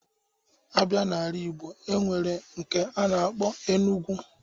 A bịa n'ala Ịgbo, e nwere nke a na-akpọ Enugwu